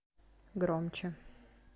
громче